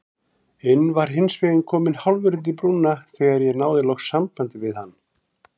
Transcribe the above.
inn var hinsvegar kominn hálfur undir brúna þegar ég náði loks sambandi við hann.